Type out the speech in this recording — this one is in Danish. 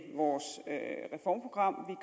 vores reformprogram